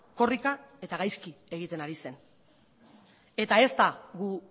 korrika eta gaizki egiten ari zen eta ez da gu